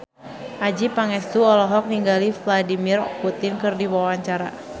Adjie Pangestu olohok ningali Vladimir Putin keur diwawancara